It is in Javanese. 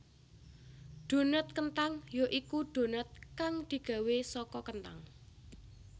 Donat kenthang ya iku donat kang digawé saka kenthang